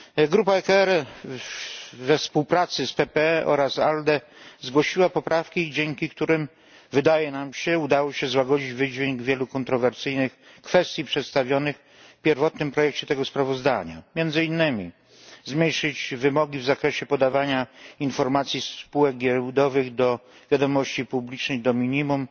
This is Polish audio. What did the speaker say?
Grupa ECR we współpracy z PPE oraz ALDE zgłosiła poprawki, dzięki którym wydaje nam się udało się złagodzić wydźwięk wielu kontrowersyjnych kwestii przedstawionych w pierwotnym projekcie tego sprawozdania między innymi zmniejszyć wymogi w zakresie podawania informacji spółek giełdowych do wiadomości publicznej do minimum,